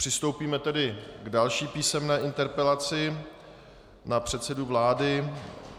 Přistoupíme tedy k další písemné interpelaci na předsedu vlády.